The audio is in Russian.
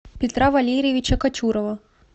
петра валерьевича кочурова